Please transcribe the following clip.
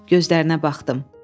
Gözlərinə baxdım.